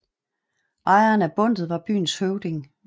Ejeren af bundtet var byens høvding